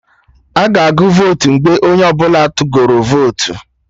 Aga agụ votu mgbe onye ọbụla tụgoro votu